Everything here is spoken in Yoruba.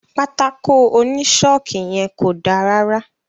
Pátákó oni ṣọọki yẹn ko dá rárá.